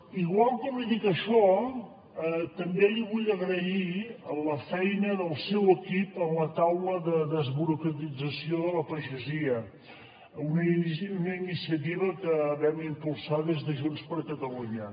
igual com li dic això també li vull agrair la feina del seu equip en la taula de desburocratització de la pagesia una iniciativa que vam impulsar des de junts per catalunya